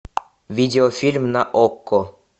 видеофильм на окко